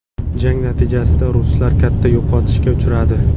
Jang natijasida ruslar katta yo‘qotishga uchradi.